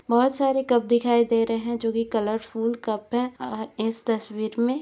बहुत सारे कप दिखाई दे रहे है जो की कलरफुल कप हैं और इस तस्वीर मे--